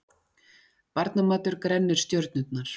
Barnamatur grennir stjörnurnar